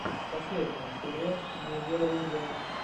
последняя серия медиалузера